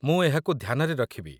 ମୁଁ ଏହାକୁ ଧ୍ୟାନରେ ରଖିବି।